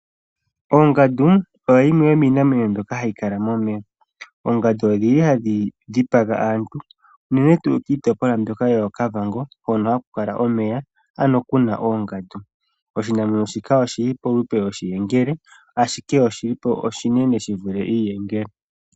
Ongandu oyo yimwe yomiinamwenyo mbyoka hayi kala momeya. Oongadu odhili hadhi dhipaga aantu unene tuu kiitopolwa mbyoka yoKavango hono haku kala omeya, ano kuna oongadu. Oshinamwenyo shika oshili polupe lwoshiyengele ashike oshinene shi vule iiyengele.